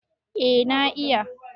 eh na iya